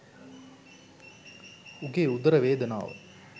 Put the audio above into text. උගේ උදර වේදනාව